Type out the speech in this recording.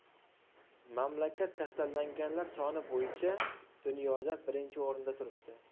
Mamlakat kasallanganlar soni bo‘yicha dunyoda birinchi o‘rinda turibdi.